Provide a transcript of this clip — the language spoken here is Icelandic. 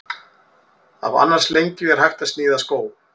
Af annars lengju er hægt að sníða skó.